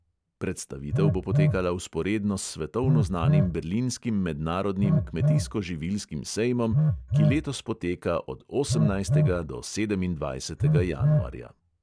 Predstavitev bo potekala vzporedno s svetovno znanim berlinskim mednarodnim kmetijsko-živilskim sejmom, ki letos poteka od osemnajstega do sedemindvajsetega januarja.